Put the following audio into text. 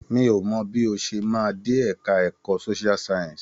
Mi ò mọ bí o ṣe máa dé ẹ̀ka ẹ̀kọ́ Social science.